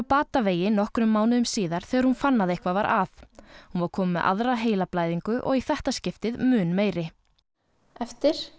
batavegi nokkrum mánuðum síðar þegar hún fann að eitthvað var að hún var komin með aðra heilablæðingu og í þetta skiptið mun meiri eftir